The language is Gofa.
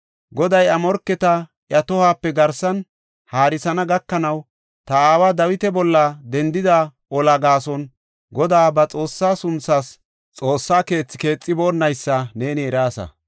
“Goday iya morketa iya tohuwape garsan haarisana gakanaw, ta aawa Dawita bolla dendida olaa gaason, Godaa ba Xoossaa sunthaas Xoossa keethi keexiboonnaysa ne eraasa.